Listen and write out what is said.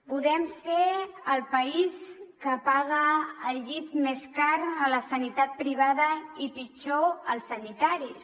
podem ser el país que paga el llit més car a la sanitat privada i pitjor als sanitaris